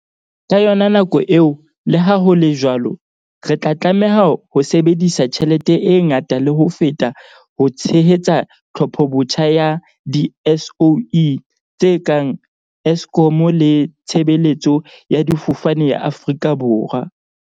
Ka yona nako eo, leha ho le jwalo, re tla tlameha ho sebedisa tjhelete e ngata le ho feta ho tshehetsa tlhophobotjha ya di-SOE tse kang Eskom le Tshebeletso ya Difofane ya Aforika Borwa, SAA.